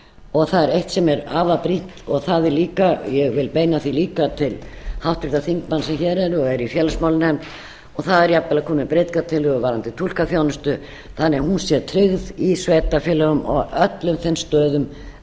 og það er eitt sem er afar brýnt og ég vil beina því líka til háttvirtra þingmanna sem hér eru og eru í félagsmálanefnd og það er jafnvel að koma með breytingartillögu varðandi túlkaþjónustu þannig að hún sé tryggð í sveitarfélögum og á öllum þeim stöðum